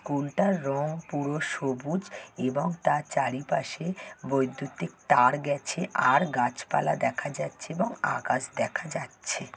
School টার রং পুরো সবুজ এবং তার চারিপাশে বৈদ্যুতিক তার গেছে আর গাছপালা দেখা যাচ্ছে এবং আকাশ দেখা যাচ্ছে।